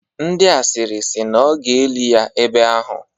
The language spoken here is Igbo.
Ndị asịrị si na ọ ga-eli ya ebe ahụ.